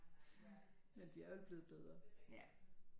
Men de er vel blevet bedre